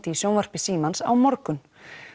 í sjónvarpi Símans á morgun